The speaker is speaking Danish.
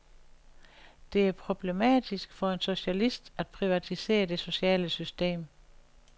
Det er problematisk for en socialist at privatisere det sociale system.